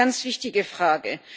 Also eine ganz wichtige Frage.